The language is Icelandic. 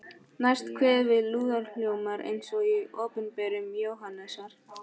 Næst kveður við lúðurhljómur eins og í Opinberun Jóhannesar